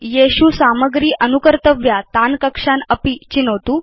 यत्र वयं सामग्रीम् अनुकर्तुम् इच्छाम तान् कक्षान् अपि चिनोतु